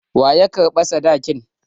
Wa ya karɓa sadakin?